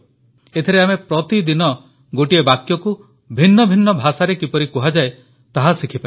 ଏଥିରେ ଆମେ ପ୍ରତିଦିନ ଗୋଟିଏ ବାକ୍ୟକୁ ଭିନ୍ନ ଭିନ୍ନ ଭାଷାରେ କିପରି କୁହାଯାଏ ତାହା ଶିଖିପାରିବା